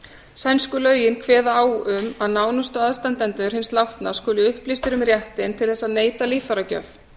sænsku lögin kveða á um að nánustu aðstandendur hins látna skuli upplýstir um réttinn til þess að neita líffæragjöf